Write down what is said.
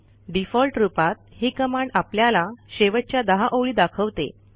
default रूपात ही command आपल्याला शेवटच्या 10 ओळी दाखवते